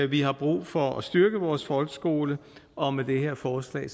vi har brug for at styrke vores folkeskole og med det her forslag